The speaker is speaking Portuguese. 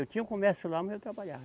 Eu tinha o comércio lá, mas eu trabalhava.